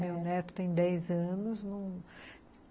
Meu neto tem dez anos.